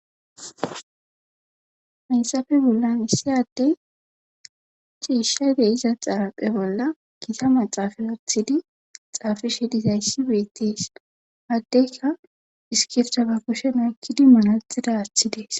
Haysafe bolla issiyaddey ciishshayde iza xaraphe bolla kita maxaafa wothidi xaafishe dizayssi beettes haddeyka iskifta ba kusheno ekkidi munaxida aaththi dees.